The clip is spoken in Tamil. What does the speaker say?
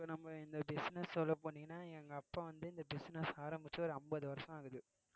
இப்ப நம்ம இந்த business சொல்ல போனீங்கன்னா எங்க அப்பா வந்து இந்த business ஆரம்பிச்சு ஒரு அம்பது வருஷம் ஆகுது